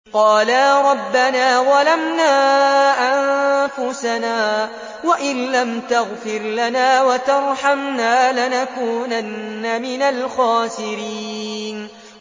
قَالَا رَبَّنَا ظَلَمْنَا أَنفُسَنَا وَإِن لَّمْ تَغْفِرْ لَنَا وَتَرْحَمْنَا لَنَكُونَنَّ مِنَ الْخَاسِرِينَ